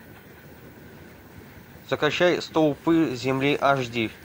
закачай столпы земли аш ди